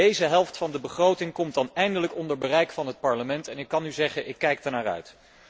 Deze helft van de begroting komt dan eindelijk onder bereik van het Parlement en ik kan u zeggen, ik kijk daarnaar uit.